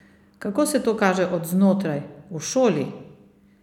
Kako se to kaže od znotraj, v šoli?